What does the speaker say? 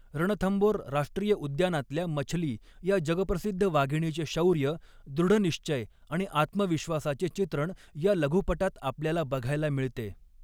रणथंबोर राष्ट्रीय उद्यानातल्या मछली या जगप्रसिद्ध वाघिणीचे शौर्य, दृढनिश्चय आणि आत्मविश्वासाचे चित्रण या लघुपटात आपल्याला बघायला मिळते.